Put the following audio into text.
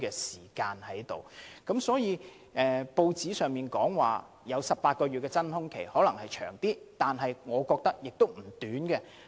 所以，雖然報章報道的18個月真空期可能過長，但我覺得這段期間亦不會太短。